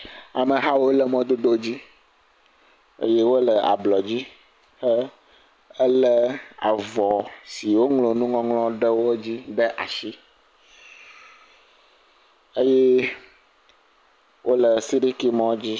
Amehawo le mɔdodo dzi, eye wole ablɔ dzi he…helé avɔ si woŋlɔ nuwo ɖe edzi ɖe asi eye wole sirikimɔ dzi.